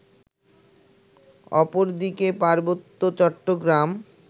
অপরদিকে পার্বত্য চট্টগ্রাম